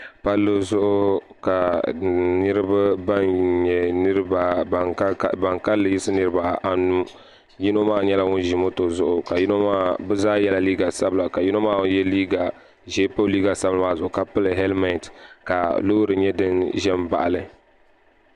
Palli zuɣu ka niraba ban kanli yiɣisi niraba anu yino maa nyɛla ŋun ʒi moto zuɣu bi zaa yɛla liiga sabila ka yino maa ŋun yɛ liiga ʒiɛ pa o liiga sabinli maa zuɣu ka pili hɛlmɛnt ka loori nyɛ din ʒɛ n baɣali